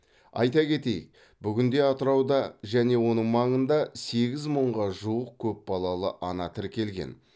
айта кетейік бүгінде атырауда және оның маңында сегіз мыңға жуық көп балалы ана тіркелген